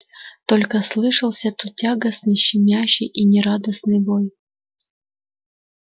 только слышался тут тягостный щемящий и нерадостный вой